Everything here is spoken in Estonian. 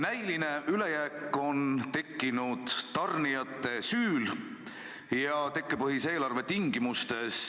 Näiline ülejääk on tekkinud tarnijate süül ja tekkepõhise eelarve tingimustes.